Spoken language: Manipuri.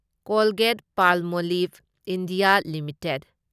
Colgate Palmolive India limited